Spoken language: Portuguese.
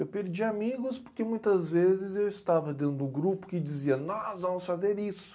Eu perdi amigos porque muitas vezes eu estava dentro do grupo que dizia nós vamos fazer isso.